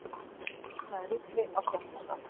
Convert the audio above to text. Vopnaður riffli á skemmtistað